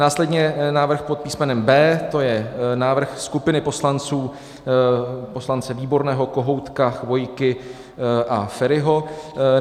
Následně návrh pod písmenem B, to je návrh skupiny poslanců, poslance Výborného, Kohoutka, Chvojky a Feriho.